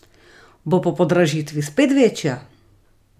Bo po podražitvi spet večja?